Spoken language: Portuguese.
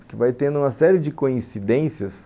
Porque vai tendo uma série de coincidências